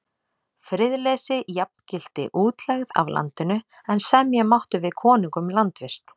Friðleysi jafngilti útlegð af landinu, en semja mátti við konung um landvist.